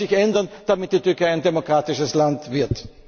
Aber er muss sich ändern, damit die Türkei ein demokratisches Land wird.